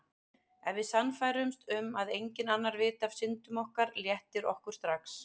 Ef við sannfærumst um að enginn annar viti af syndum okkar léttir okkur strax.